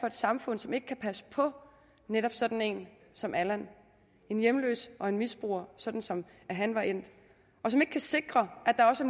et samfund som ikke kan passe på netop sådan en som allan en hjemløs og en misbruger sådan som han var endt og som ikke kan sikre at der også